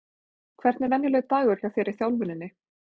Hvernig er venjulegur dagur hjá þér í þjálfuninni?